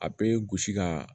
A bɛ gosi ka